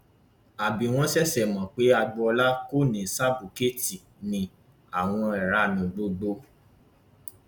àbí wọn ṣẹṣẹ mọ pé agboola kò ní ṣàbùkẹẹtì ni àwọn ẹńránú gbogbo